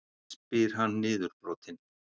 spyr hann niðurbrotinn.